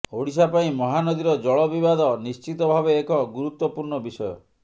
ଓଡ଼ିଶା ପାଇଁ ମହାନଦୀର ଜଳ ବିବାଦ ନିଶ୍ଚିତ ଭାବେ ଏକ ଗୁରୁତ୍ୱ ପୂର୍ଣ୍ଣ ବିଷୟ